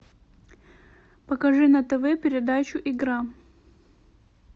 покажи на тв передачу игра